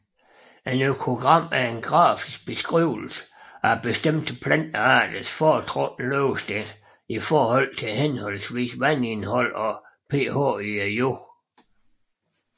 Et økogram er en grafisk beskrivelse af bestemte plantearters foretrukne levested i forhold til henholdsvis vandindhold og pH i jorden